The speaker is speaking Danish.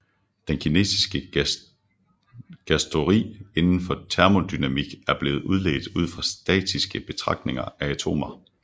Den kinetiske gasteori inden for termodynamik er blevet udledt ud fra statistiske betragtning af atomer